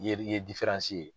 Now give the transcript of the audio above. I ye i ye ye.